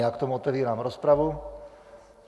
Já k tomu otevírám rozpravu.